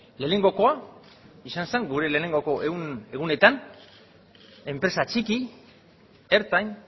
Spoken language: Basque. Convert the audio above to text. lehenengokoa izan zen gure lehenengoko egunetan enpresa txiki ertain